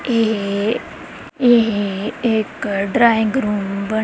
ਇਹ ਇਹ ਇੱਕ ਡਰਾਇੰਗ ਰੂਮ ਬਣਿਆ--